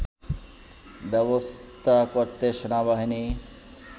ব্যবস্থা করতে সেনাবাহিনী